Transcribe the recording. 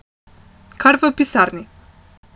Kar v pisarni.